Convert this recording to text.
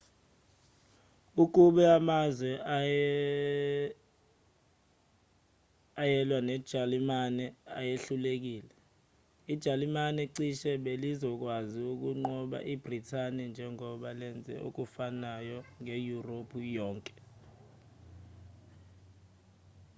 ukube amazwe ayelwa nejalimane ayehlulekile ijalimane cishe belizokwazi ukunqoba ibhrithani njengoba lenze okufanayo ngeyurophu yonke